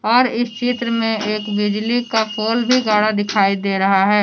और इस चित्र में एक बिजली का पोल भी गाड़ा दिखाई दे रहा है।